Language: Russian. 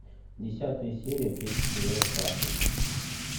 десятая серия третий сезон касл